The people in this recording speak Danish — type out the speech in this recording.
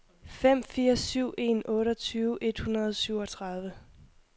fem fire syv en otteogtyve et hundrede og syvogtredive